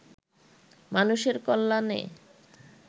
মানুষের কল্যাণে